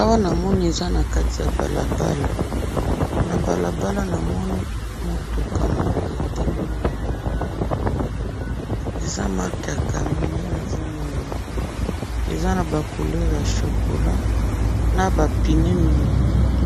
awa na moni eza nakati ya balabala na balabala na moni mutuka moko etelemi na balabala eza mark ya camion nde nazo mona eza na couleur ya chocola na ba pneu mingi mingi